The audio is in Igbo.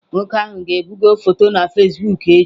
Nwoke ahụ ga-ebugo foto na Fasibụk echi.